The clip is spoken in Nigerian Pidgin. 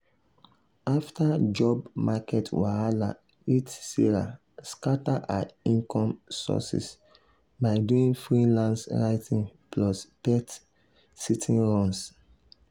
after job market wahala hit sarah scatter her income sources by doing freelance writing plus pet-sitting runs.